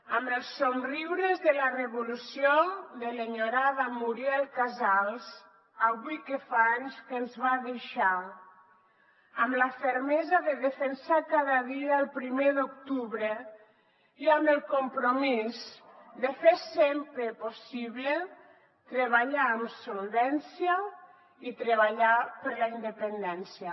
amb els somriures de la revolució de l’enyorada muriel casals avui que fa anys que ens va deixar amb la fermesa de defensar cada dia el primer d’octubre i amb el compromís de fer sempre possible treballar amb solvència i treballar per la independència